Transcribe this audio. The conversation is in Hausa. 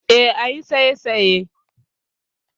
E, ayi saisaye.